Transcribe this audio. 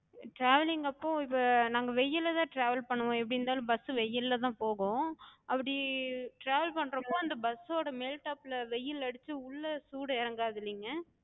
travelling அப்போ இப்ப நாங்க வெயில்லதா travel பண்ணுவோ, எப்டி இருந்தாலு bus வெயில்லதா போகு. அப்படி travel பண்றப்போ அந்த bus ஓட மேல் top ல வெயில் அடிச்சு உள்ள சூடு எறங்காதுல்லைங்க?